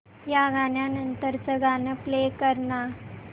या गाण्या नंतरचं गाणं प्ले कर ना